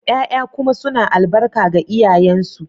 ya'ya kuma suna albarka ga iyayensu